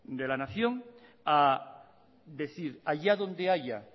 de la nación a decir allá donde haya